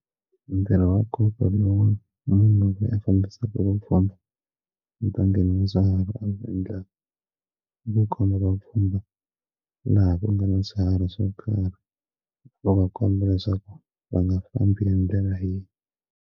Ntirho wa nkombo lowu munhu loyi a fambisaka vupfhumba ndzi ta ngheni ndzi dyuhara ndzi endla kukoma vapfhumba laha ku nga na byi swiharhi swo karhi va vakomba leswaku va nga fambi hi ndlela yihi.